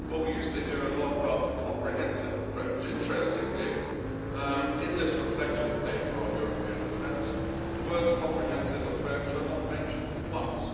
Well, we used to hear a lot about the comprehensive approach. Interestingly, in this reflection paper on European defence, the words comprehensive approach' are not mentioned once.